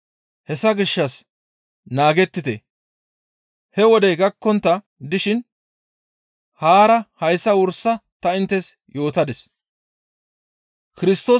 Hessa gishshas naagettite; he wodey gakkontta dishin haara hayssa wursa ta inttes yootadis.